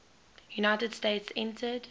united states entered